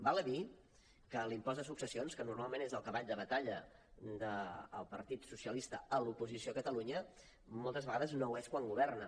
val a dir que l’impost de successions que normalment és el cavall de batalla del partit socialista a l’oposició a catalunya moltes vegades no ho és quan governa